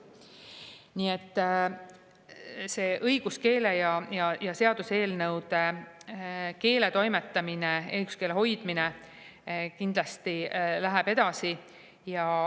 Nii et õiguskeele ja seaduseelnõude keeletoimetamine, õiguskeele hoidmine kindlasti läheb edasi.